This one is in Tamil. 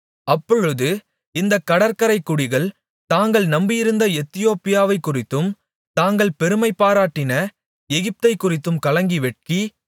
அப்பொழுது இந்தக் கடற்கரைக்குடிகள் தாங்கள் நம்பியிருந்த எத்தியோப்பியாவைக்குறித்தும் தாங்கள் பெருமைபாராட்டின எகிப்தைக்குறித்தும் கலங்கி வெட்கி